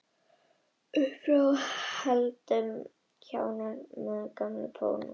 Uppfrá þessu fór heldur en ekki að kárna gamanið í Pólunum.